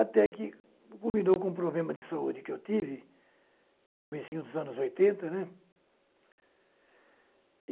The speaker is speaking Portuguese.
até que culminou com o problema de saúde que eu tive no comecinho dos anos oitenta, né.